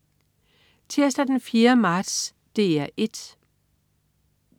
Tirsdag den 4. marts - DR 1: